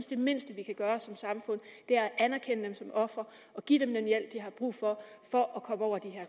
det mindste vi kan gøre som samfund er at anerkende dem som ofre og give dem den hjælp de har brug for for at komme over de